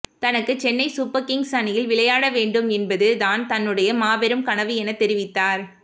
தனக்கு Chennai Super Kings அணியில் விளையாட வேண்டும் என்பது தான் தன்னுடை மாபெரும் கனவு என தெரிவித்தார்